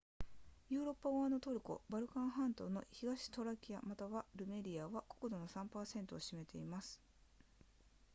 ヨーロッパ側のトルコバルカン半島の東トラキアまたはルメリアは国土の 3% を占めています